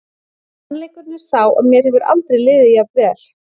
Sannleikurinn er sá að mér hefur aldrei liðið jafn vel.